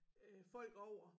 Øh folk over